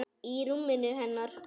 Í rúminu hennar.